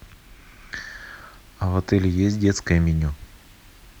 а в отеле есть детское меню